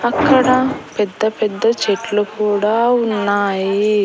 అక్కడ పెద్ద పెద్ద చెట్లు కూడా ఉన్నాయి.